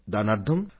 దీని అనర్థం